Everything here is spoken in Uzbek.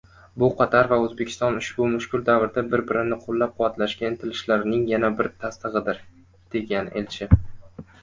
“Bu Qatar va O‘zbekiston ushbu mushkul davrda bir-birini qo‘llab-quvvatlashga intilishlarining yana bir tasdig‘idir”, degan elchi.